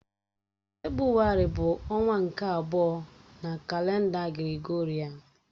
Febrụwarị bụ ọnwa nke abụọ na kalenda Gregorịan.